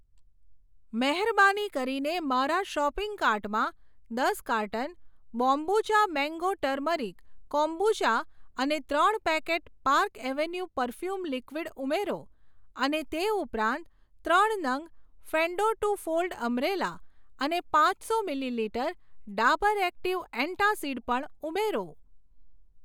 મહેરબાની કરીને મારા શોપિંગ કાર્ટમાં દસ carton Bombucha mango turmeric kombucha અને ત્રણ packet Park Avenue perfume liquid ઉમેરો, અને તે ઉપરાંત ત્રણ નંગ ફેંડો ટુ ફોલ્ડ અમ્બ્રેલા અને પાંચસો મિલીલિટર ડાબર એક્ટિવ એંટાસીડ પણ ઉમેરો.